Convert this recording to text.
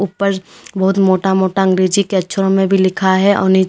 ऊपर बहुत मोटा मोटा अंग्रेजी के अक्षरों में भी लिखा है और नीचे--